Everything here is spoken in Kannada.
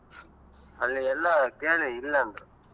ಅಲ್ಲಿ ಎಲ್ಲಾ ಕೇಳಿ ಇಲ್ಲಾ ಅಂದ್ರು.